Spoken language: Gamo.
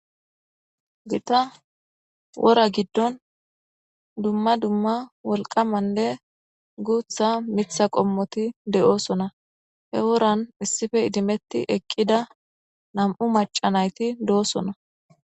Giththa wora giddon dumma dumma wolqqamanne daro miththatha giddon miththa qomoththi de'osona he woran issippe idimeththi eqqida nam'u mac'a naythi de'osona.